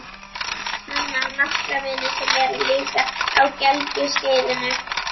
Nonni á nokkra vini sem eru líka á gelgjuskeiðinu.